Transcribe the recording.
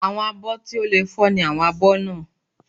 Àwọn àbọ̀ tí ò lè fọ́ ni àwọn abọ́ náà